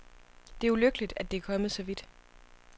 Det er ulykkeligt, at det er kommet så vidt.